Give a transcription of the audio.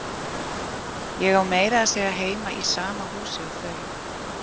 Ég á meira að segja heima í sama húsi og þau.